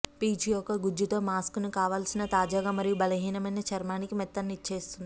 పీచు యొక్క గుజ్జుతో మాస్క్ కావలసిన తాజాగా మరియు బలహీనమైన చర్మానికి మెత్తనిచ్చేస్తుంది